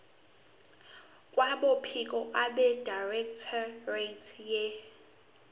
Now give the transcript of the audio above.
kwabophiko abedirectorate ye